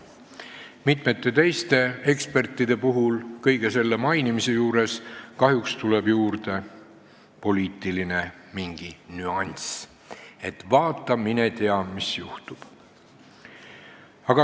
Mitme teise eksperdi puhul tuleb kõige selle mainimisel kahjuks juurde mingi poliitiline nüanss, et vaata, mine tea, mis juhtub.